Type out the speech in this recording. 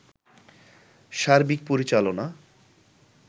সার্বিক পরিচালনা